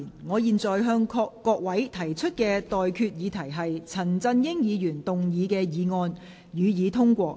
我現在向各位提出的待決議題是：陳振英議員動議的議案，予以通過。